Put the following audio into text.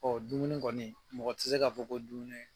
Ɔ dumuni kɔni mɔgɔ tɛ se k'a fɔ ko dumuni